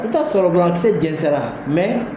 I bɛ t'a sɔrɔ binakisɛ jɛnsɛra